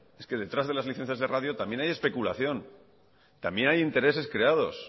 es que detrás de las licencias de radio también hay especulación también hay intereses creados